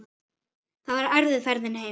Það var erfið ferðin heim.